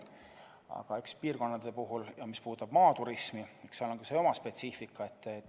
Muude piirkondade puhul, eriti puudutab see maaturismi, on oma spetsiifika.